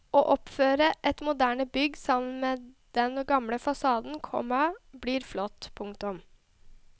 Å oppføre et moderne bygg sammen med den gamle fasaden, komma blir flott. punktum